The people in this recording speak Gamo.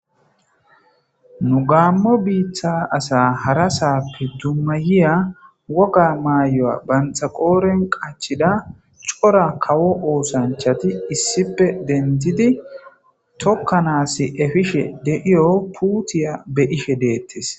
nu gamo biitta asa hara saappe dummayiya woga maayoya banxaqooren qachida cora kawo oosanchati issipe dentidi tokkanas efishe deiyo puutiya be ihe deettes